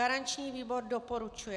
Garanční výbor doporučuje.